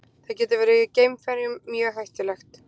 Það getur verið geimferjum mjög hættulegt.